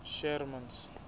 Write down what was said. sherman's